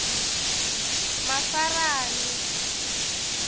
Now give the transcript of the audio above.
mafarani